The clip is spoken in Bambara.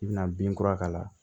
I bina binkura k'a la